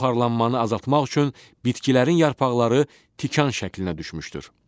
Buxarlanmanı azaltmaq üçün bitkilərin yarpaqları tikan şəklinə düşmüşdür.